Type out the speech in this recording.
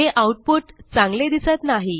हे आऊटपुट चांगले दिसत नाही